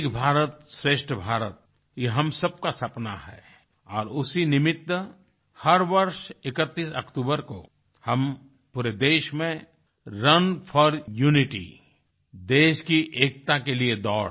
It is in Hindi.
एक भारतश्रेष्ठ भारत ये हम सबका सपना है और उसी निमित्त हर वर्ष 31 अक्टूबर को हम पूरे देश में रुन फोर यूनिटी देश की एकता के लिए दौड़